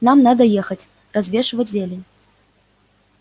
нам надо ехать развешивать зелень